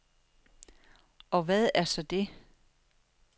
Og hvad er så det?